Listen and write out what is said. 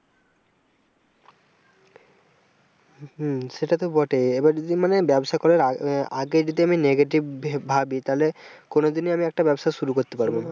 হম সেটা তো বটে এবার যদি মানে ব্যবসা করার আহ আগে যদি negative ভাবি ভাবি তালে কোনদিনই আমি একটা ব্যবসা শুরু করতে পারব না।